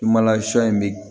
in bɛ